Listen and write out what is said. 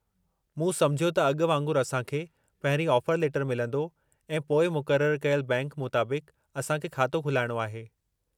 मूं समुझियो त अॻु वांगुरु असांखे पहिरीं ऑफर लेटरु मिलंदो ऐं पोइ मुक़ररु कयलु बैंक मुताबिक़ु असांखे खातो खुलाइणो आहे।